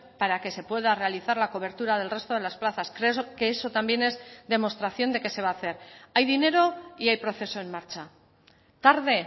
para que se pueda realizar la cobertura del resto de las plazas creo que eso también es demostración de que se va a hacer hay dinero y hay proceso en marcha tarde